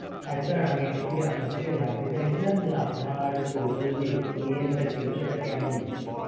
হ্যাঁ Sir আমি actually আপনার থেকে জানতে চাইছিলাম যে আপনার total যে experience টা ছিল সেটা কেমন ছিল